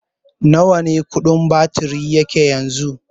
Nawa kudin batiri yake yanzu?